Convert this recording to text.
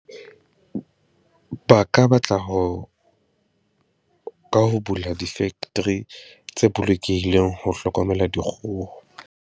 Ba ka batla ho, ka ho bula di-factory tse bolokehileng ho hlokomela dikgoho.